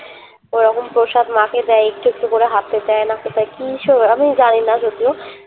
ওরকম প্রসাদ মা কে দেয় এটা একটু করে হাতে দেয় মা কে দেয় কি সব আমি জানিনা যদিও